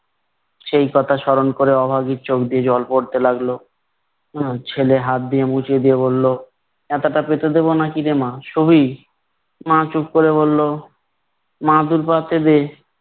সেই কথা স্মরণ করে অভাগীর চোখ দিয়ে জল পড়তে লাগলো। আহ ছেলে হাত দিয়ে মুছে দিয়ে বলল, মাদুরটা পেতে দেব নাকি রে মা, শুবি? মা চুপ করে বললো মাদুর পাতে দে।